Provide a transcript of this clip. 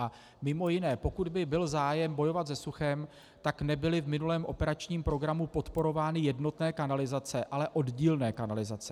A mimo jiné pokud by byl zájem bojovat se suchem, tak nebyly v minulém operačním programu podporovány jednotné kanalizace, ale oddílné kanalizace.